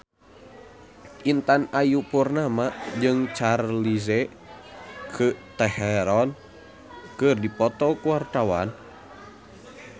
Intan Ayu Purnama jeung Charlize Theron keur dipoto ku wartawan